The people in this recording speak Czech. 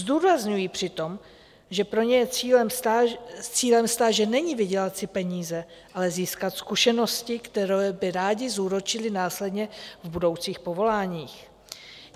Zdůrazňují přitom, že pro ně cílem stáže není vydělat si peníze, ale získat zkušenosti, které by rádi zúročili následně v budoucích povoláních.